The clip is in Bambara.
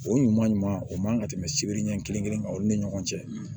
O ɲuman ɲuman o man ka tɛmɛ sibiri ɲɛ kelen kan aw ni ɲɔgɔn cɛ